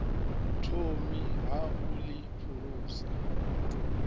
thomi ha u ḽi phulusa